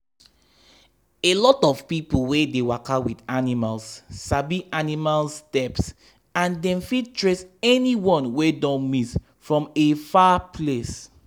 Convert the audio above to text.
a lot of people wey dey waka with animals sabi animal steps and dem fit trace any one wey don miss from a far place.